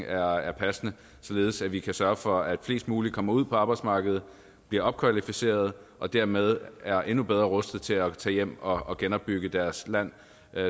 er er passende således at vi kan sørge for at flest mulige kommer ud på arbejdsmarkedet bliver opkvalificeret og dermed er endnu bedre rustet til at tage hjem og genopbygge deres land